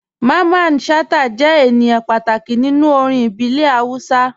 Mamman Shata jẹ̀ ènìyàn pàtàkì nínú orin ìbílẹ̀ Hausa.